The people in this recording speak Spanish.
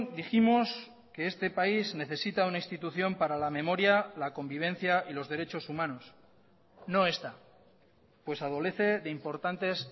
dijimos que este país necesita una institución para la memoria la convivencia y los derechos humanos no esta pues adolece de importantes